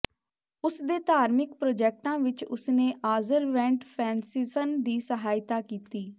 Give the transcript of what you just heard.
ਉਸ ਦੇ ਧਾਰਮਿਕ ਪ੍ਰੋਜੈਕਟਾਂ ਵਿੱਚ ਉਸਨੇ ਆਜ਼ਰਵੈਂਟ ਫ੍ਰੈਨ੍ਸਿਸਨ ਦੀ ਸਹਾਇਤਾ ਕੀਤੀ